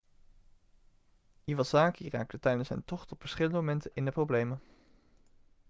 iwasaki raakte tijdens zijn tocht op verschillende momenten in de problemen